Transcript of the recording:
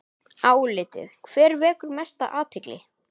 Álitið: Hver vekur mesta athygli?